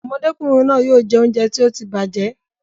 Ọmọdékùnrin náà yóò jẹ oúnjẹ tí ó ti bàjẹ́